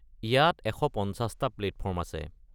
ইয়াত ১৫০ টা প্লেটফৰ্ম আছে।